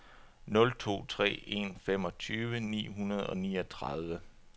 nul to tre en femogtyve ni hundrede og niogtredive